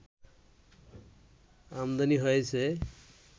আমদানি হয়েছে